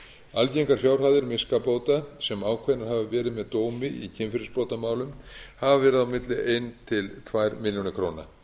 algengar fjárhæðir miskabóta sem ákveðnar hafa verið með dómi í kynferðisbrotamálum hafa verið á milli eitt til tvær milljónir króna